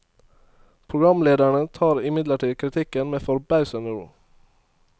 Programlederne tar imidlertid kritikken med forbausende ro.